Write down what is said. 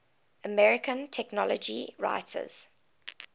american technology writers